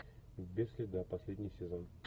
без следа последний сезон